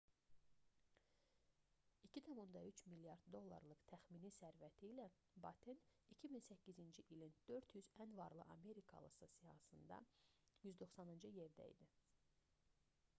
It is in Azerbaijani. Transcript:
2,3 milyard dollarlıq təxmini sərvəti ilə batten 2008-ci ilin 400 ən varlı amerikalısı siyahısında 190-cı yerdə idi